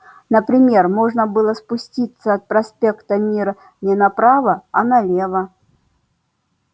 например можно было спуститься от проспекта мира не направо а налево